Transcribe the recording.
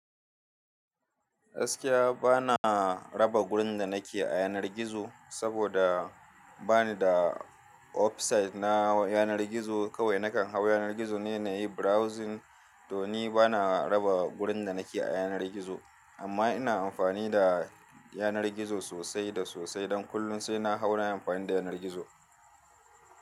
Gaskiya ba na raba gurin da na ke a yanar gizo saboda ba ni da website na yanar gizo. Kawai nakan hau yanar gizo ne na yi browsing. To ni ba na raba gurin da na ke a yanar gizo, amma ina amfani da yanar gizo sosai da sosai don kullum sai na hau na yi amfani da yanar gizo.